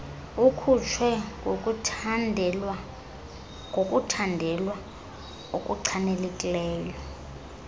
ikhutshwe ngokuthandelwa okuchanekileyo